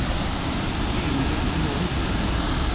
Ingrid Nord